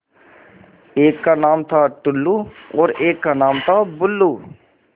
एक का नाम था टुल्लु और एक का नाम था बुल्लु